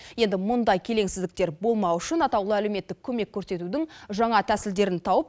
енді мұндай келеңсіздіктер болмау үшін атаулы әлеуметтік көмек көрсетудің жаңа тәсілдерін тауып